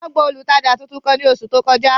Wọn gba olutaja tuntun kan ni oṣu to kọja.